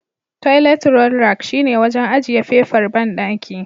Toilet roll rack shine wajen ajiye fefar banɗaki.